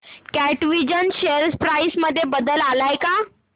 कॅटविजन share price मध्ये बदल आलाय का